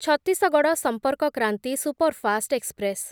Chhattisgarh Sampark Kranti superfast express